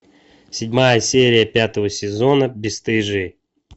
седьмая серия пятого сезона бесстыжие